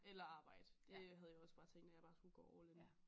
Eller arbejde det havde jeg også bare tænkt at jeg bare skulle gå all in